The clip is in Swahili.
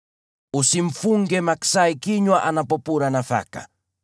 Usimfunge maksai kinywa anapopura nafaka.